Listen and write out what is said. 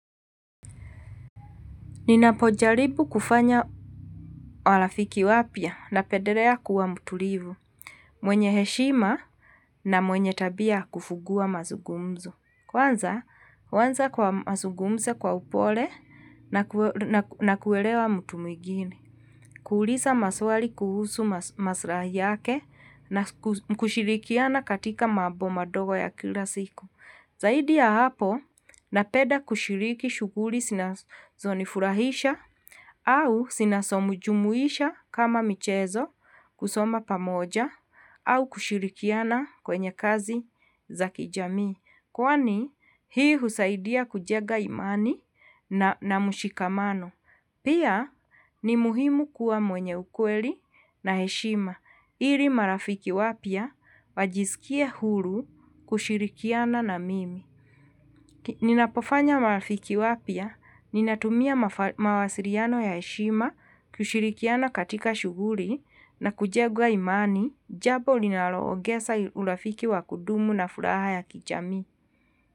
Ninapojaribu kufanya marafiki wapya na pendelea kuwa mtulivu. Mwenye heshima na mwenye tabia kufungua mazungumzo. Kwanza, huanza kwa mazugumzo kwa upole na kuelewa mtu mwigine. Kuuliza maswali kuhusu maslahi yake na kushirikiana katika mambo madogo ya kila siku. Zaidi ya hapo napenda kushiriki shughuli zinazo nifurahisha au zinazo mjumuisha kama michezo kusoma pamoja au kushirikiana kwenye kazi za kijami. Kwani hii husaidia kujenga imani na mshikamano. Pia ni muhimu kuwa mwenye ukweli na heshima. Ili marafiki wapya wajisikie huru kushirikiana na mimi. Ninapofanya marafiki wapya ninatumia mawasiliano ya heshima kushirikiana katika shughuli na kujenga imani jambo linalo ongeza urafiki wa kudumu na furaha ya kijamii.